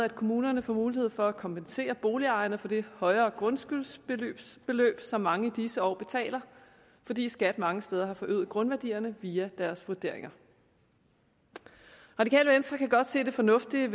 at kommunerne får mulighed for at kompensere boligejerne for det højere grundskyldsbeløb som mange i disse år betaler fordi skat mange steder har forøget grundværdierne via deres vurderinger radikale venstre kan godt se det fornuftige